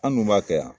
An dun b'a kɛ yan